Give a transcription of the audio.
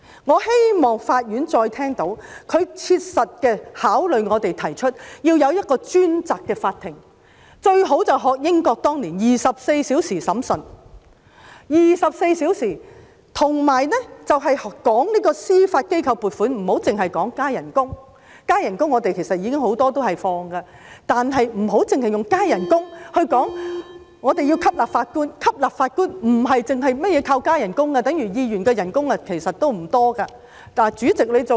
我希望法院再次聽到，並切實考慮我們的建議，要設立一個專責法庭，最好便是學習英國當年的24小時審訊安排；而且談到司法機構撥款，不要只談加薪——關於加薪要求，其實我們很多時也會批准——不要只以加薪來吸納法官，因為吸納法官不單靠加薪，等於議員的薪金其實也不多......